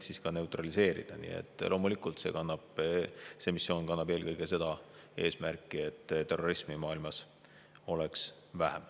Aga loomulikult see missioon kannab eelkõige seda eesmärki, et terrorismi oleks maailmas vähem.